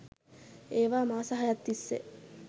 ඒවා මාස හයක් තිස්සේ